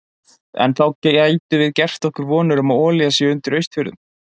En gætum við þá gert okkur vonir um að olía sé undir Austfjörðum?